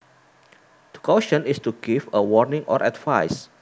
To caution is to give a warning or advice